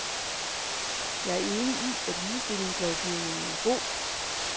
Jeg er enig i, at ligestillingslovgivningen er god.